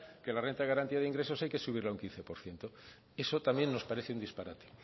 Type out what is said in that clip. que la renta de garantía de ingresos hay que subirla un quince por ciento eso también nos parece un disparate